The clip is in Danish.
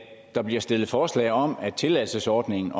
der bliver stillet forslag om at tilladelsesordningen